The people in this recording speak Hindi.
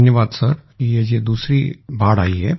धन्यवाद सर ये जो दूसरी बाढ़ वेव आई है